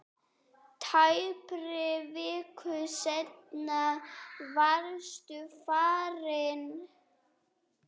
Tæpri viku seinna varstu farinn.